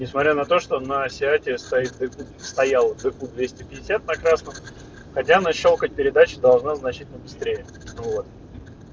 несмотря на то что на сиате стоит стоял выкуп двести пятьдесят на красном хотя она щёлкать передачи должна значительно быстрее вот